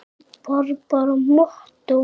Var bara mottó.